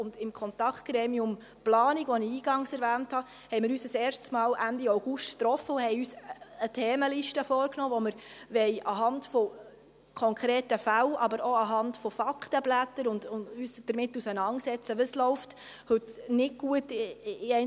Im Kontaktgremium Planung, welches ich anfangs erwähnte, trafen wir uns Ende August ein erstes Mal und nahmen uns eine Themenliste vor, bei welcher wir uns anhand konkreter Fälle, aber auch anhand von Faktenblättern damit auseinandersetzen, was in einzelnen Themen nicht gut läuft.